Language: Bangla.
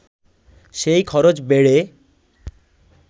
সেই খরচ বেড়ে